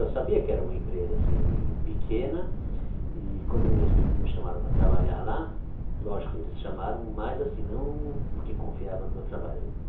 Eu sabia que era uma empresa assim pequena e quando meus primos me chamaram para trabalhar lá, lógico, eles chamaram, mas assim não porque confiavam no meu trabalho.